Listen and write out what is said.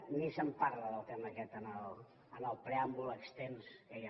ni se’n parla del tema aquest en el preàmbul extens que hi ha